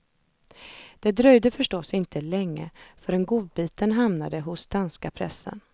Det dröjde förstås inte länge förrän godbiten hamnade hos danska pressen.